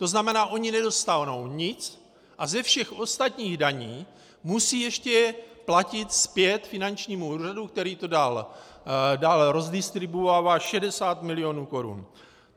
To znamená, ony nedostanou nic a ze všech ostatních daní musí ještě platit zpět finančnímu úřadu, který to dál rozdistribuovává, 60 milionů korun.